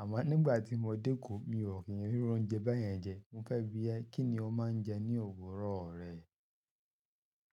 Àmọ́ nígbà tí mo dẹ́ eko, mi ò kí n rí iru oúnjẹ bẹ́ẹ̀ yẹn jẹ. Mo fẹ́ bi ẹ́ kí ni o máa ń jẹ ní òwúrọ̀ rẹ?